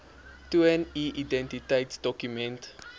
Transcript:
toon u identiteitsdokument